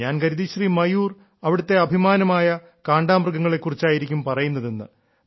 ഞാൻ കരുതി ശ്രീ മയൂർ അവിടത്തെ അഭിമാനമായ കാണ്ടാമൃഗങ്ങളെ കുറിച്ചായിരിക്കും പറയുന്നതെന്ന്